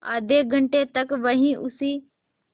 आधे घंटे तक वहीं उसी